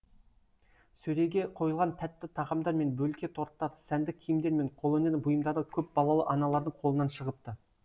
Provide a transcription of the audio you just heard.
сөреге қойылған тәтті тағамдар мен бөлке торттар сәнді киімдер мен қолөнер бұйымдары көпбалалы аналардың қолынан шығыпты